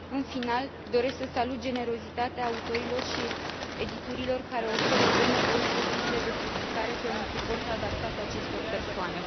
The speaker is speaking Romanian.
În final, doresc să salut generozitatea autorilor și editurilor care oferă benevol drepturile de publicare pe un suport adaptat acestor persoane.